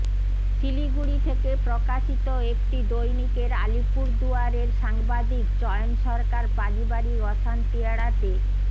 শিলিগুড়ি থেকে প্রকাশিত একটি দৈনিকের আলিপুরদুয়ারের সাংবাদিক চয়ন সরকার পারিবারিক অশান্তি এড়াতে